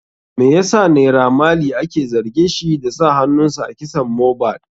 Me yasa naira marley ake zargin shi da sa hanunsa a kisan mohbad?